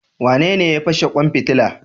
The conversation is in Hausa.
Wanene ya fashe kwan fitila?